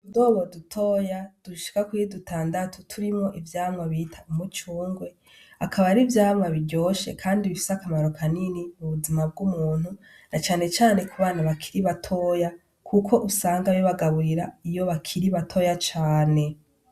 Utudobo dutoya dushika kuri dutandatu turimwo ivyamwa bita umucungwe akaba ari ivyamwa biryoshe kandi bifise akamaro kanini ku buzima bw'umuntu na cane cane ku bana bakiri batoya kuko usanga bibagaburira iyo bakiri batoya cane.